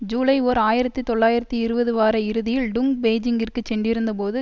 ஜூலை ஓர் ஆயிரத்தி தொள்ளாயிரத்தி இருபது வார இறுதியில் டுங் பெய்ஜிங்கிற்குச் சென்றிருந்தபோது